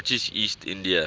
british east india